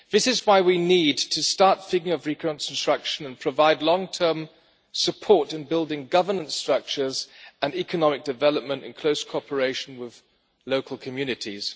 This is why we need to start thinking of reconstruction and provide long term support in building governance structures and economic development in close cooperation with local communities.